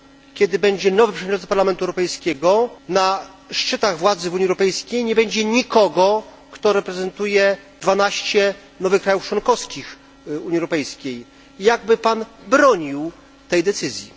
kiedy będzie nowy przewodniczący Parlamentu Europejskiego na szczytach władzy w Unii Europejskiej nie będzie nikogo, kto reprezentuje dwanaście nowych krajów członkowskich Unii Europejskiej. Jakby pan bronił tej decyzji?